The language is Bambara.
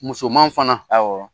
Musoman fana , awɔ